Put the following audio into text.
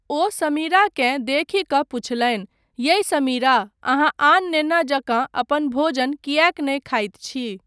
ओ समीराकेँ देखि कऽ पुछलनि, यै समीरा, अहाँ आन नेना जकाँ अपन भोजन किएक नहि खाइत छी?